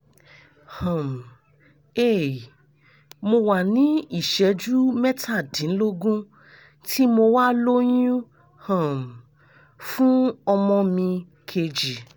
um hey mo wà ní ìṣẹ́jú mẹ́tàdínlógún tí mo wà lóyún um fún ọmọ mi kejì